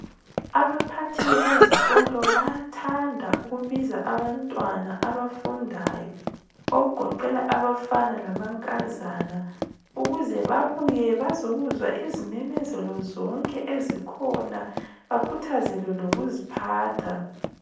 Abaphathi bezikolo bayathanda ukubiza abantwana abafundayo okugoqela abafana lamankazana ukuze babuye bazokuzwa izimemezelo zonke ezikhona, bakhuthazelewe lokuziphatha.